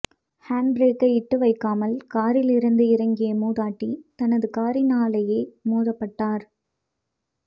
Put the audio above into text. hand பிறேக்கை இட்டுவைக்காமல் காரிலிருந்து இறங்கிய மூதாட்டி தனது காரினாலேயே மோதப்பட்டார்